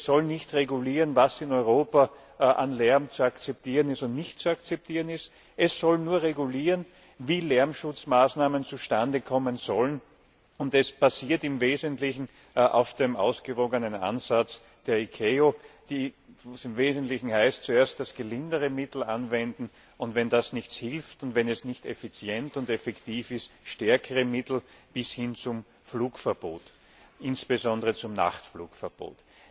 Es soll nicht regulieren, was in Europa an Lärm zu akzeptieren und was nicht zu akzeptieren ist. Es soll nur regulieren, wie Lärmschutzmaßnahmen zustande kommen sollen, und es basiert im Wesentlichen auf dem ausgewogenen Ansatz der ICAO, wo es im Wesentlichen heißt, zuerst das gelindere Mittel anzuwenden, und wenn das nichts hilft und wenn das nicht effizient und effektiv ist, stärkere Mittel bis hin zum Flugverbot, insbesondere bis hin zum Nachtflugverbot.